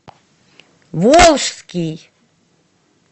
волжский